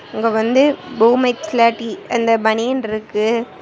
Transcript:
இங்க வந்து பூமெக்ஸ்ல டி அந்த பனியன்ருக்கு.